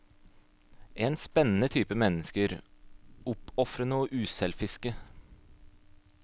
En spennende type mennesker, oppofrende og uselviske.